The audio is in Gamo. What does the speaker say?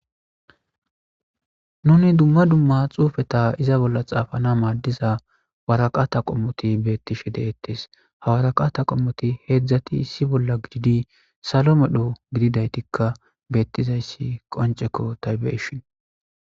nuni dumma dumma xuufeta iza bolla xaafana maaddiza waraqata qommoti beettishe deettes hawaraqata qommoti heedzdzati issi bolla gididi salo medho gididaytikka beettizayssi qonceko taybeshin